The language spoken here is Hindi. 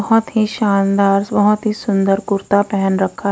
बहोत ही शानदार बहोत ही सुंदर कुर्ता पेहन रखा--